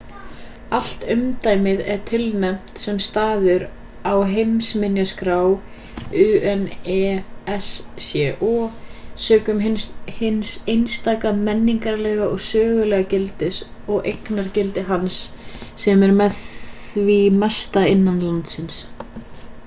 allt umdæmið er tilnefnt sem staður á heimsminjaskrá unesco sökum hins einstaka menningarlega og sögulega gildis og eignargildi hans sem er með því mesta innan landsins